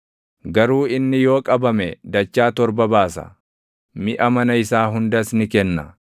Garuu inni yoo qabame dachaa torba baasa; miʼa mana isaa hundas ni kenna.